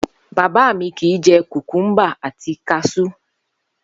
Bàbá mi kìí je̩ kùkúmbà àti kas̩ú